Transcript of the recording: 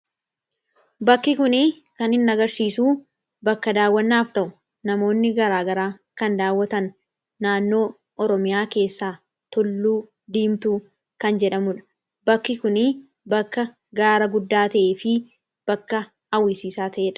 Bakki kunii kan hin agarsiisu bakka daawwannaaf ta'u namoonni garaagaraa kan daawwatan naannoo Oromiyaa keessaa tulluu diimtuu kan jedhamudha. Bakki kunii bakka gaara guddaa ta'ee fi bakka hawwisiisaa ta'eedha.